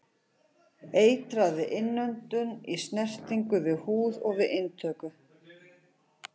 Eitrað við innöndun, í snertingu við húð og við inntöku.